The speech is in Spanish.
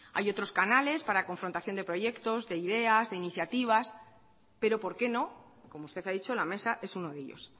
hay otros canales para confrontación de proyectos de ideas de iniciativas pero por qué no como usted ha dicho la mesa es uno de ellos